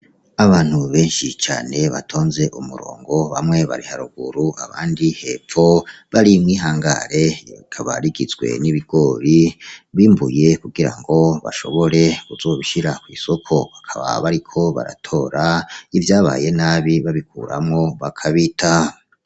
Abantu benshi cane batonze umurongo, bamwe bari haruguru abandi hepfo, bari mw'ihangare, rikaba rigizwe n'ibigori bimbuye kugira ngo bashobore kuzobishira kw'isoko; bakaba bariko baratora ivyabaye nabi babikuramwo bakabita.